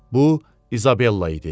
Bu İzabella idi.